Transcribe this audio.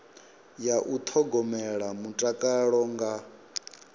ya u thogomela mutakalo nga